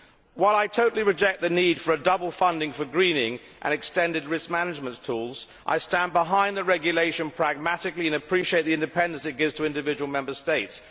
While I totally reject the need for double funding for greening, and extended risk management tools, I stand behind the regulation pragmatically and appreciate the independence it gives to individual Member States.